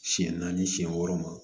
Siɲɛ naani siɲɛ wɔɔrɔ ma